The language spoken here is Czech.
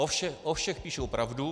O všech píší pravdu.